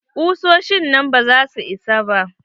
Kusoshin nan ba za su isa ba.